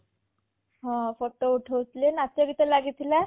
ହଁ photo ଉଠଉ ଥିଲେ ନାଚ ଗୀତ ଲାଗିଥିଲା